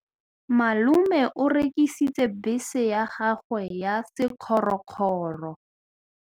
Malome o rekisitse bese ya gagwe ya sekgorokgoro.